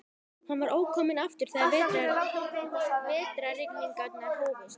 Hann var ókominn aftur þegar vetrarrigningarnar hófust.